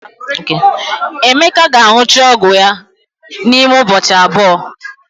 Emeka ga-aṅụcha ọgwụ ya n'ime ụbọchị abụọ.